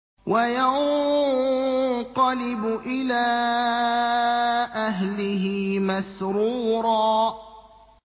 وَيَنقَلِبُ إِلَىٰ أَهْلِهِ مَسْرُورًا